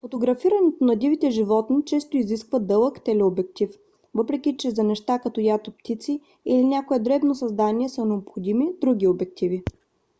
фотографирането на дивите животни често изисква дълъг телеобектив въпреки че за неща като ято птици или някое дребно създание са необходими други обективи